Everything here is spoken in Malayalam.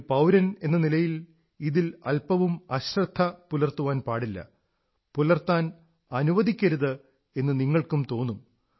ഒരു പൌരനെന്ന നിലയിൽ ഇതിൽ അല്പവും അശ്രദ്ധ പുലർത്താൻ പാടില്ല പുലർത്താൻ അനുവദിക്കരുത് എന്ന് നിങ്ങൾക്കും തോന്നും